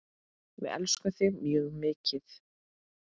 Við elskum þig mjög mikið.